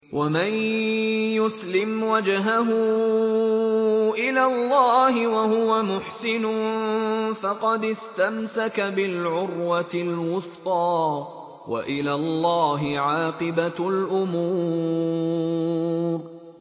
۞ وَمَن يُسْلِمْ وَجْهَهُ إِلَى اللَّهِ وَهُوَ مُحْسِنٌ فَقَدِ اسْتَمْسَكَ بِالْعُرْوَةِ الْوُثْقَىٰ ۗ وَإِلَى اللَّهِ عَاقِبَةُ الْأُمُورِ